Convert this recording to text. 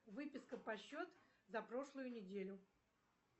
выписка по счету за прошлую неделю